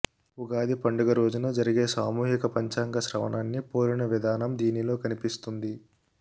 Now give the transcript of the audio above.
ఉగాది పండుగ రోజు జరిగే సామూహిక పంచాంగ శ్రవణాన్ని పోలిన విధానం దీనిలో కనిపిస్తుంది